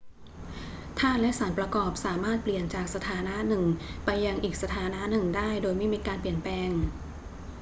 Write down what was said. ธาตุและสารประกอบสามารถเปลี่ยนจากสถานะหนึ่งไปยังอีกสถานะหนึ่งได้โดยไม่มีการเปลี่ยนแปลง